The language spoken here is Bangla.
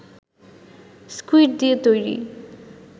স্কুইড দিয়ে তৈরি